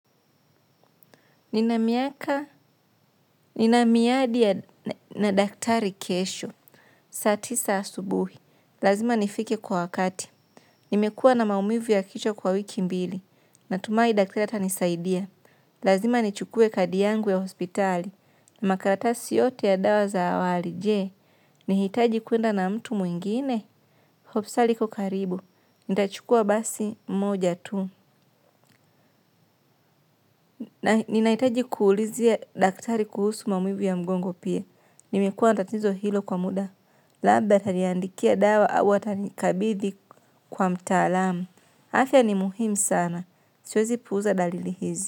Nina miaka, nina miadi na daktari kesho, saa tisa asubuhi. Lazima nifike kwa wakati, nimekuwa na maumivu ya kichwa kwa wiki mbili, natumai daktari atanisaidia. Lazima nichukue kadi yangu ya hospitali, na makaratasi yote ya dawa za awali. Je, nihitaji kuenda na mtu mwingine? Hopstali iko karibu, nitachukuwa basi moja tu. Na ninahitaji kuulizia daktari kuhusu maumivu ya mgongo pia. Nimekuwa na tatizo hilo kwa muda. Labda ataniandikia dawa au atanikabidhi kwa mtaalamu. Afya ni muhimu sana. Siwezi puuza dalili hizi.